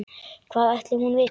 Hvað ætli hún viti?